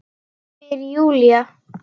Spyr Júlía.